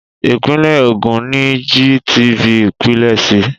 Ìpínlẹ̀ Ògùn ni GTV pilẹ̀ sí.